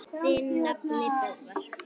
Þinn nafni, Böðvar.